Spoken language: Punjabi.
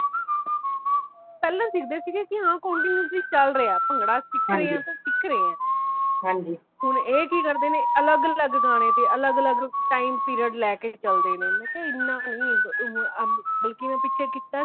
ਪਹਿਲਾ ਸਿਕਦੇ ਸੀ ਕੇ continuously ਚਾਲ ਰਹੀਆਂ ਭੰਗੜਾ ਸਿੱਖ ਰਹੇ ਆ, ਤੇ ਸਿੱਖ ਰਹੇ ਆ ਹੋਣ ਇਹ ਕੀ ਕਰਦੇ ਨੇ ਅਲੱਗ ਅਲੱਗ ਗਾਣੇ ਤੇ ਅਲੱਗ ਅਲੱਗ time period ਲੈਕੇ ਚਲਦੇ ਨੇ ਮੈ ਕਯਾ ਏਨਾ ਨਹੀਂ ਬਲਕਿ ਮੈ ਪਿੱਛੇ ਕੀਤਾ ਸੀ